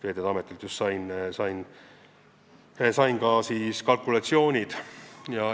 Veeteede Ametilt just sain ka kalkulatsioonid.